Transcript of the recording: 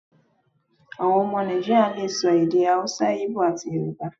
Àwọn ọmọ Nàìjíríà le so èdè Hausa, Íbò, àti Yorùbá.